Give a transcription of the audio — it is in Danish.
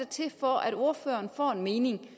til for at ordføreren får en mening